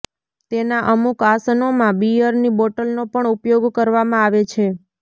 તેના અમુક આસનોમાં બિયરની બોટલનો પણ ઉપયોગ કરવામાં આવે છે